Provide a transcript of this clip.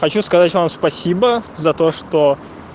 хочу сказать вам спасибо за то что